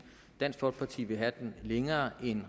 dansk folkeparti vil have at være længere end